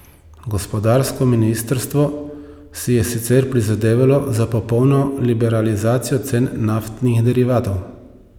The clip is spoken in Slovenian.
Gospodarsko ministrstvo si je sicer prizadevalo za popolno liberalizacijo cen naftnih derivatov.